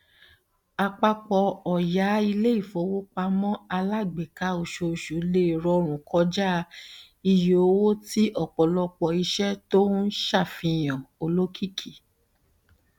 àpapọ ọya iléifowopamọ alágbèéká oṣooṣù lè rọrùn kọjá iye owó ti ọpọlọpọ iṣẹ to n se àfihàn olókìkí